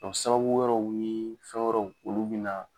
Dɔ sababu wɛrɛw nii fɛn wɛrɛw, olu bi na